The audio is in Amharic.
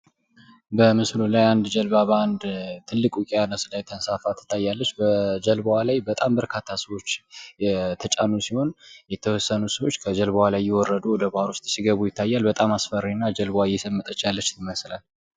በምስሉ ላይ አንድ ጀልባ ትልቅ በውቂያኖስ ላይ ተንሳፋ ትታያለች። በጀልባዋ ላይ በጣም ብዙ ሰዎች የተጫኑ ሲሆን የተወሰኑ ሰዎች ከጀልባዋ እየዘለሉ እየወረዱ ወደ ባህሩ ሲገቡ ይታያል። በጣም አስፈሪና ጀልባዋ እየሰመጠች ያለች ትመስላለች።